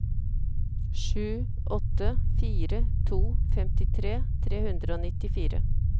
sju åtte fire to femtitre tre hundre og nittifire